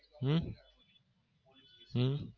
હમ હમ